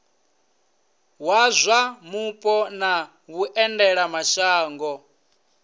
wa zwa mupo na vhuendelamashango